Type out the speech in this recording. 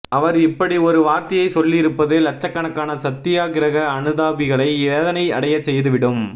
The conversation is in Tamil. அவர் இப்படி ஒரு வார்த்தையை சொல்லி இருப்பது லச்சக்கணக்கான சத்தியாகிரக அனுதாபிகளை வேதனை அடைய செய்துவிடும்